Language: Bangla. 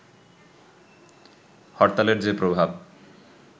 হরতালের যে প্রভাব